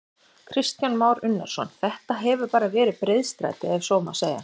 Kristján Már Unnarsson: Þetta hefur bara verið breiðstræti ef svo má segja?